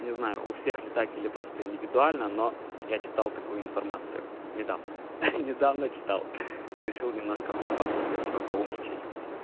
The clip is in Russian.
не знаю у всех ли так или просто индивидуально но я читал такую информацию недавно недавно читал решил немножко похвастаться типа поумничать